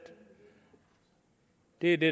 det er det